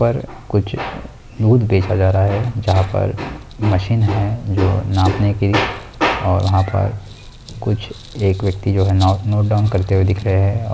यहां पर कुछ लोग देखा जा रहा है जहां पर मशीन है जो नापने की और वहां पर कुछ एक व्यक्ति जो है ना नोटडाउन करते हुए दिख रहे हैं।